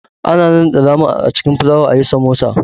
Ana nannaɗe nama a cikin filawa ayi Samosa